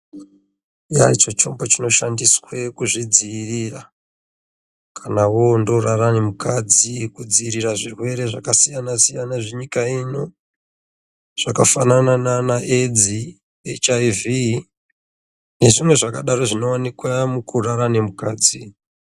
Chombo chinoshandiswa kuzvidziirira kana oenda kunorara nemukadzi kudziirira zvirwere zvakawanda zvenyika ino zvakaita seEdzi, HIV nezvimwe zvakadaro zvinowanikwa pabonde